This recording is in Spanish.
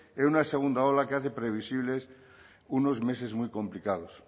en una segunda ola que hace previsibles unos meses muy complicados